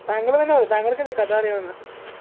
താങ്കള് തന്നെ പറയു താങ്കൾക്കല്ലേ കഥ അറിയാവുന്നെ